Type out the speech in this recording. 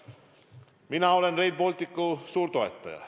Mina olen Rail Balticu suur toetaja.